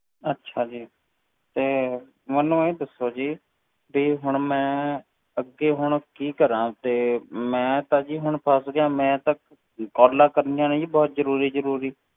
ਅੱਛਾ ਜੀ, ਤੇ ਮੈਨੂੰ ਇਹ ਦੱਸੋ ਜੀ ਵੀ ਹੁਣ ਮੈਂ, ਅੱਗੇ ਹੁਣ ਕੀ ਕਰਾਂ ਤੇ ਮੈਂ ਤਾਂ ਜੀ ਹੁਣ ਫਸ ਗਿਆ, ਮੈਂ ਤਾਂ calls ਕਰਨੀਆਂ ਨੇ ਜੀ ਬਹੁਤ ਜ਼ਰੂਰੀ ਜ਼ਰੂਰੀ।